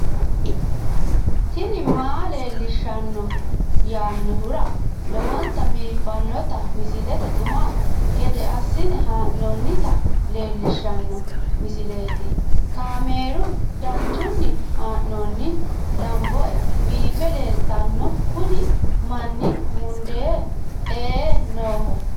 tini maa leelishshanno yaannohura lowonta biiffanota misile xuma gede assine haa'noonnita leellishshanno misileeti kaameru danchunni haa'noonni lamboe biiffe leeeltanno kuni manni mundee ee nooho